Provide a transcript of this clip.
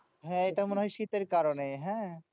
হ্যাঁ এটা মনে হয় শীতের কারণে, হ্যাঁ।